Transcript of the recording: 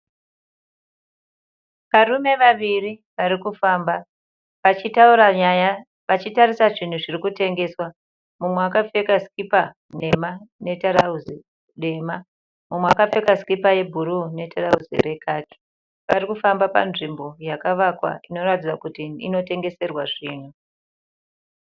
Varume vaviri vari kufamba vachitaura nyaya vachitarisa zvinhu zviri kutengeswa. Mumwe akapfeka sikipa nhema netirauzi dema, mumwe akapfeka sikipa yebhuruu netirauzi rekaki. Vari kufamba panzvimbo yakavakwa inoratidza kuti inotengeserwa zvinhu.